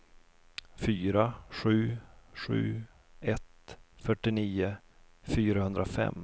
fyra sju sju ett fyrtionio fyrahundrafem